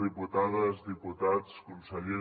diputades diputats conseller